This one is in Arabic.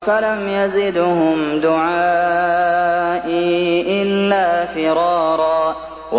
فَلَمْ يَزِدْهُمْ دُعَائِي إِلَّا فِرَارًا